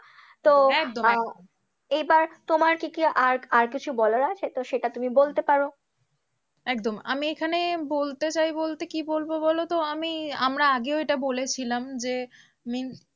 তো একদম একদম এইবার তোমার কি কি আর আর কিছু বলার আছে? সেটা তুমি বলতে পারো একদম আমি এখানে বলতে চাইবো বলতে কি বলবো বলো তো? আমি আমরা আগেও এটা বলেছিলাম যে